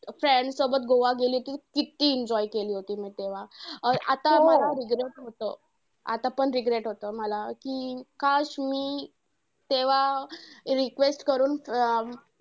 Friends सोबत गोवा गेली होती. किती enjoy केली होतं मी तेव्हा. अं आता मला regret होतं. आतापण regret होतं, मला कि मी तेव्हा request करून अं